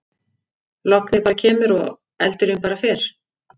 Lognið bara kemur og eldurinn bara fer.